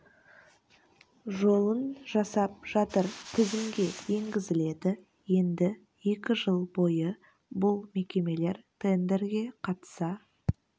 жолын жасап жатыр тізімге енгізіледі енді екі жыл бойы бұл мекемелер тендерге қатыса